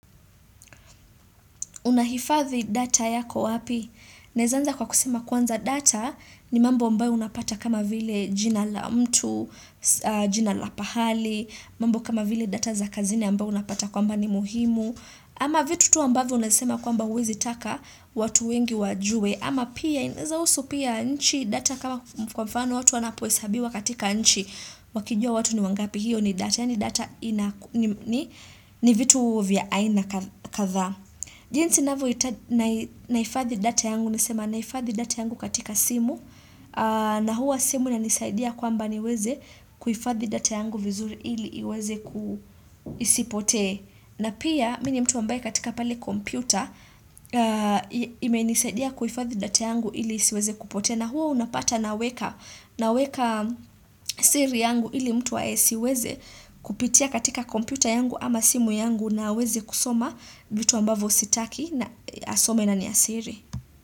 Unahifadhi data yako wapi? Naeza anza kwa kusema kwanza data ni mambo ambayo unapata kama vile jina la mtu, jina la pahali, mambo kama vile data za kazini ambayo unapata kwamba ni muhimu. Ama vitu tu ambavyo unasema kwamba huwezi taka watu wengi wajue. Ama pia inaeza husu pia nchi data kama kwa mfano watu wanapohesabiwa katika nchi wakijua watu ni wangapi, hiyo ni data. Yaani data ni vitu vya aina kadhaa. Jinsi nahifadhi data yangu nasema nahifadhi data yangu katika simu na huwa simu inanisaidia kwamba niweze kuhifadhi data yangu vizuri ili iweze ku isipotee na pia mi ni mtu ambaye katika pale kompyuta imenisaidia kuhifadhi data yangu ili isiweze kupotea na huo unapata naweka naweka siri yangu ili mtu asiweze kupitia katika kompyuta yangu ama simu yangu na aweze kusoma vitu ambavyo sitaki na asome na ni ya siri.